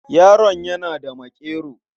Yaron yana da maƙero.